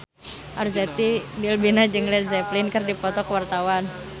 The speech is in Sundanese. Arzetti Bilbina jeung Led Zeppelin keur dipoto ku wartawan